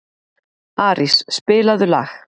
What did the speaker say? Arís, spilaðu lag.